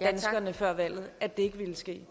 danskerne før valget at det ikke ville ske